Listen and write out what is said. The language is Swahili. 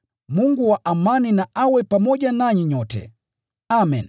Mungu wa amani na awe pamoja nanyi nyote. Amen.